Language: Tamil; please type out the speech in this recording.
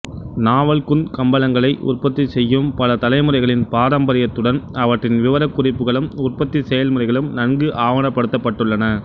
நாவல்குந்த் கம்பளங்களை உற்பத்தி செய்யும் பல தலைமுறைகளின் பாரம்பரியத்துடன் அவற்றின் விவரக்குறிப்புகளும் உற்பத்தி செயல்முறைகளும் நன்கு ஆவணப்படுத்தப்பட்டுள்ளன